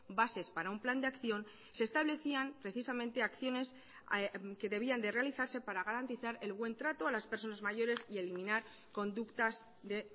bases para un plan de acción se establecían precisamente acciones que debían de realizarse para garantizar el buen trato a las personas mayores y eliminar conductas de